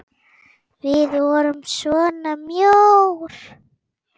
Við vorum svona mjóir!